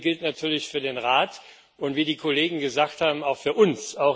Dasselbe gilt natürlich für den Rat und wie die Kollegen gesagt haben auch für uns.